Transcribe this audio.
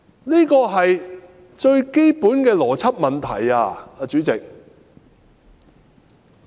這是最基本的邏輯問題，主席。